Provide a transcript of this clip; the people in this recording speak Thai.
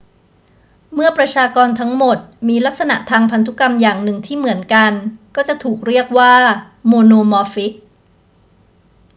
เมื่อประชากรทั้งหมดมีลักษณะทางพันธุกรรมอย่างหนึ่งที่เหมือนกันก็จะถูกเรียกว่าโมโนมอร์ฟิก